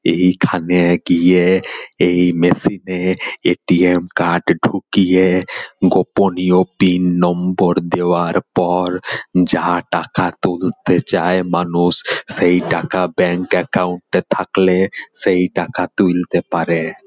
এইখানে গিয়ে এই মেশিন এ এ.টি.এম. কার্ড ঢুকিয়ে গোপনীয় পিন নম্বর দেওয়ার পর যা টাকা তুলতে চায় মানুষ সেই টাকা ব্যাঙ্ক একাউন্ট এ থাকলে সেই টাকা তুলতে পারে।